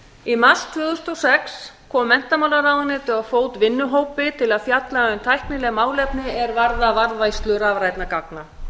í mars tvö þúsund og sex kom menntamálaráðuneytið á fót vinnuhópi til að fjalla um tæknileg málefni er varða varðveislu rafrænna gagna